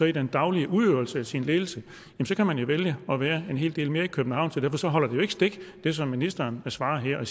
i den daglige udøvelse af sin ledelse kan man jo vælge at være en hel del mere i københavn så derfor holder det som ministeren svarer her jo